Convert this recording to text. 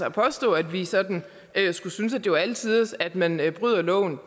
at påstå at vi sådan skulle synes at det var alle tiders at man bryder loven